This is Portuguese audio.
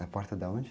Na porta de onde?